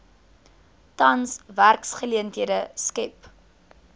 tans werksgeleenthede skep